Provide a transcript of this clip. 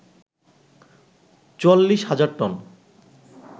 ৪৪ হাজার টন